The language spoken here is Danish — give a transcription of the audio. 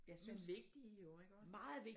Men vigtige jo ikke også?